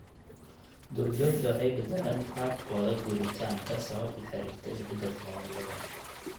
Duurjoogta waxay beddeleen qaabkooda guuritaanka sabab la xiriirta isbedelka cimilada.